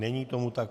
Není tomu tak.